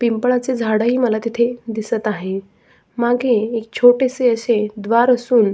पिंपळाच झाड ही मला तिथे दिसत आहे मागे एक छोटेसे असे द्वार असून--